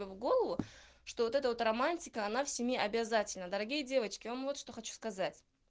в голову что вот это вот романтика она в семье обязательна дорогие девочки я вам вот что хочу сказать